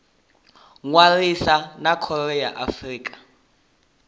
ṅwalisa na khoro ya afrika